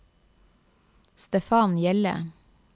Stefan Hjelle